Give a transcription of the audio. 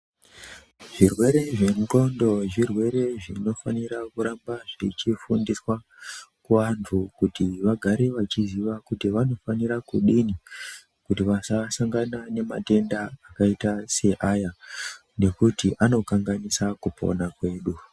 Zvirwere zvenxondo zvirwere zvinofanira kuramba zvichifundiswa kuvantu kuti vagare vachiziva kuti vanofanira kudini kuti vasa sangana nematenda akaita seaya ngokutu anokanganisa kupona kwedu.